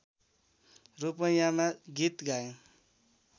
रूपैयाँमा गीत गाएँ